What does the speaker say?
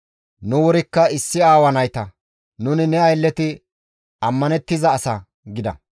Nu wurikka issi aawa nayta. Nuni ne aylleti ammanettiza asa» gida.